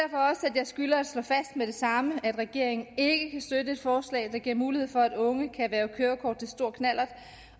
jeg skylder at slå fast med det samme at regeringen ikke kan støtte et forslag der giver mulighed for at unge kan erhverve kørekort til stor knallert